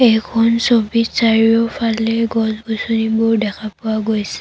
এইখন ছবিত চাৰিওফালে গছ-গছনিবোৰ দেখা পোৱা গৈছে।